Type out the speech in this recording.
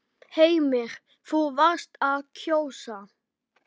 Heimir: Þú varst að kjósa?